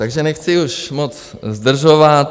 Takže nechci už moc zdržovat.